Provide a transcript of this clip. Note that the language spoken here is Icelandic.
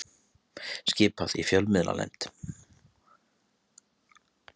Skipað í fjölmiðlanefnd